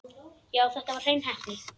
Já, þetta var hrein heppni.